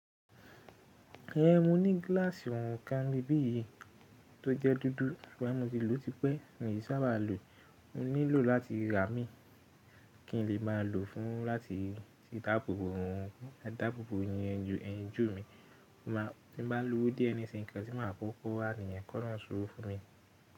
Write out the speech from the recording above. Ẹ̀n, mo ní gíláàsì orun kan nibi yìí tó jẹ́ dúdú sugbon mo lo ti pẹ́, mi i sa baá lò nílò láti rà imi kí n lè máa lo fún láti dáàbò bo eyin ojú mi tí bá lówó dié nisinyi nńkan tí màá kọ́kọ́ rà níyẹn kọ́ ọlọrun se owó fún mi.